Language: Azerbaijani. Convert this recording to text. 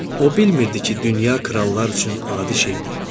O bilmirdi ki, dünya krallar üçün adi şeydir.